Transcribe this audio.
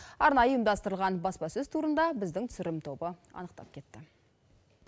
арнайы ұйымдастырылған баспасөз турында біздің түсірілім тобы анықтап кетті